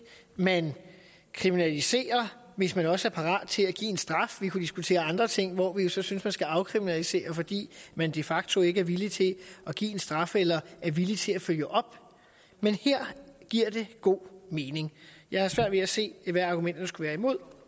man kriminaliserer hvis man også er parat til at give en straf vi kunne diskutere andre ting hvor vi jo så synes man skal afkriminalisere fordi man de facto ikke er villig til at give en straf eller er villig til at følge op men her giver det god mening jeg har svært ved at se hvad argumenterne skulle være imod